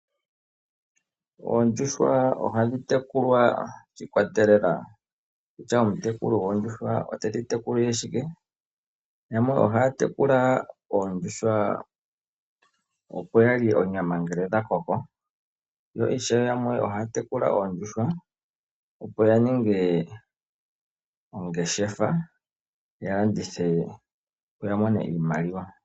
Oondjuhwa ohadhi tekulwa shi ikwatelela kutya omutekuli goondjuhwa otedhi tekulile shike. Yamwe ohaya tekula oondjuhwa opo yalye onyama ngele dha koko . Yo ishewe yamwe ohaya tekula oondjuhwa opo ya ninge ongeshefa ya landithe opo yamone iimaliwa.